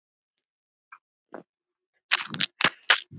Voru nú góð ráð dýr.